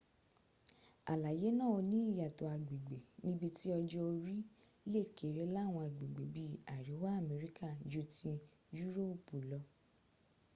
àlàyé náà ní ìyàtọ̀ agbègbè nibití ọjọ́ orí le kéré láwọn agbègbè bí i àríwá amẹ́ríkà jú ti yúròpù lọ